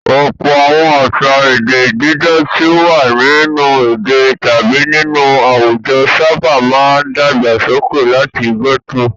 Ọ̀pọ̀ àwọn àṣà èdè dídá tí ó wà nínú èdè tàbí nínú àwùjọ sábà máa dàgbàsókè láti gẹ́tò.